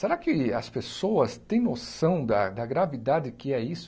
Será que as pessoas têm noção da gravidade que é isso?